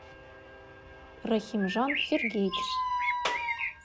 рахимжан сергеевич